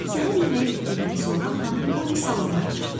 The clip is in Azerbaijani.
Səhər yeməyi bitdikdən sonra Xanım Poli salondan çıxdı.